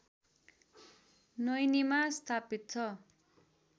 नैनीमा स्थापित छ